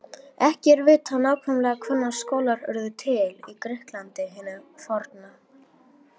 Ekki er vitað nákvæmlega hvenær skólar urðu til í Grikklandi hinu forna.